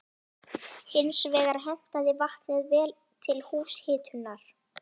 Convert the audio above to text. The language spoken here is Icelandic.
Hins vegar hentaði vatnið vel til húshitunar.